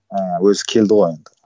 ыыы өзі келді ғой енді